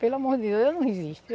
Pelo amor de Deus, eu não resisto.